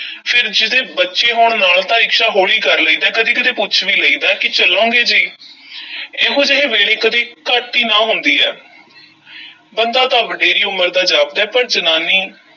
ਫੇਰ ਜਿਹਦੇ ਬੱਚੇ ਹੋਣ ਨਾਲ ਤਾਂ ਰਿਕਸ਼ਾ ਹੌਲੀ ਕਰ ਲਈਦਾ ਐ, ਕਦੀ-ਕਦੀ ਪੁੱਛ ਵੀ ਲਈਦਾ ਹੈ ਕਿ ਚੱਲੋਗੇ ਜੀ ਇਹੋ ਜਿਹੇ ਵੇਲੇ ਕਦੀ ਘੱਟ ਈ ਨਾਂਹ ਹੁੰਦੀ ਐ ਬੰਦਾ ਤਾਂ ਵਡੇਰੀ ਉਮਰ ਦਾ ਜਾਪਦਾ ਹੈ, ਪਰ ਜਨਾਨੀ